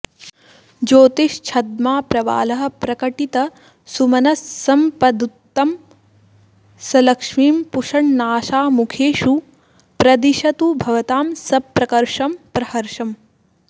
ज्योतिश्छद्मा प्रवालः प्रकटितसुमनस्सम्पदुत्तंसलक्ष्मीं पुष्णन्नाशामुखेषु प्रदिशतु भवतां सप्रकर्षं प्रहर्षम्